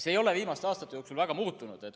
See ei ole viimaste aastate jooksul väga muutunud.